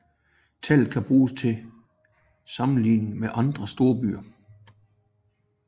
Tallet kan bruges til sammenligning med andre storbyer